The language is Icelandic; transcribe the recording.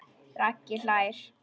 Raggi hlær.